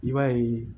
I b'a ye